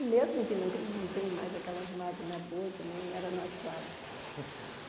E mesmo que nunca não tem mais aquelas máquinas boas que nem era nas fábricas.